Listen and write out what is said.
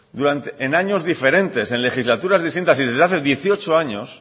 en años diferentes en legislaturas distintas y desde hace dieciocho años